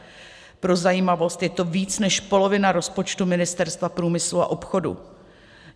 Pro zajímavost, je to víc než polovina rozpočtu Ministerstva průmyslu a obchodu.